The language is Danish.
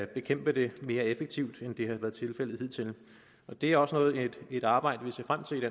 bekæmpe det mere effektivt end det har været tilfældet hidtil det er også et arbejde vi ser frem til